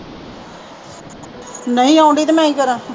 ਨਹੀਂ ਆਉਂਦੀ ਤਾਂ ਮੈਂ ਕੀ ਕਰਾਂ